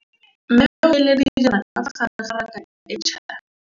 Mmê o beile dijana ka fa gare ga raka e ntšha.